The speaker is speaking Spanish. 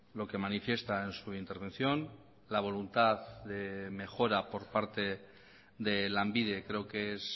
lo que manifiesta en su intervención la voluntad de mejora por parte de lanbide creo que es